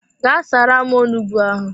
Gaa saara m onugbu ahụ!